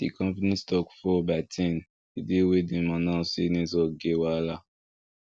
the company stock fall by ten the day wey dem announce say network get wahala